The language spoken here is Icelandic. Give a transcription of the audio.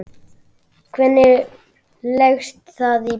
Hvernig leggst það í Blika?